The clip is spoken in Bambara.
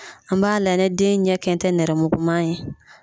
An b'a layɛ ne den ɲɛ kɛn tɛ nɛrɛ muguman ye.